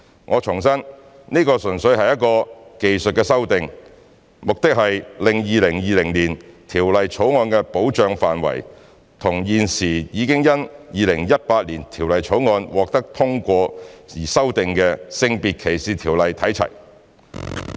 我重申，這純粹是一項技術修訂，目的是令《條例草案》的保障範圍與現時已因《2018年條例草案》獲通過而已經修訂的《性別歧視條例》看齊。